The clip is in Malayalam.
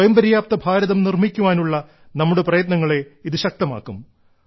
സ്വയംപര്യാപ്ത ഭാരതം നിർമ്മിക്കുവാനുള്ള നമ്മുടെ പ്രയത്നങ്ങളെ ഇത് ശക്തമാക്കും